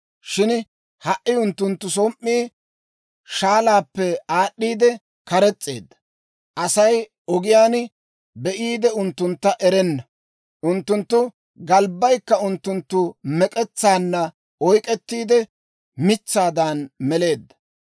Shin ha"i unttunttu som"ii shaalaappe aad'd'iide kares's'eedda; Asay ogiyaan be'iide unttuntta erenna. Unttunttu galbbaykka unttunttu mek'etsaanna oyk'k'ettiide, mitsaadan meleedda.